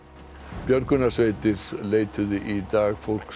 björgunarsveitir leituðu í dag fólks